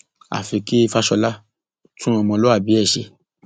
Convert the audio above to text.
àfi kí fàsọlà tún ọmọlúàbí ẹ ṣe